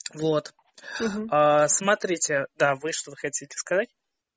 вот смотрите да вы что-то хотите сказать